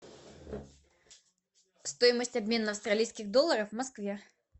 стоимость обмена австралийских долларов в москве